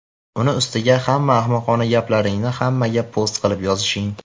Uni ustiga hamma ahmoqona gaplaringni hammaga post qilib yozishing.